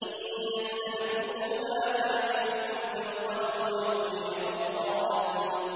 إِن يَسْأَلْكُمُوهَا فَيُحْفِكُمْ تَبْخَلُوا وَيُخْرِجْ أَضْغَانَكُمْ